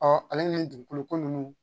ale ni dugukolo ko nunnu